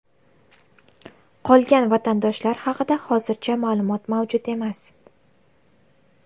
Qolgan vatandoshlar haqida hozircha ma’lumot mavjud emas.